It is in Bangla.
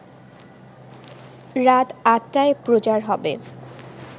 রাত ৮টায় প্রচার হবে